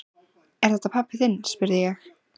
Er þetta pabbi þinn? spurði ég.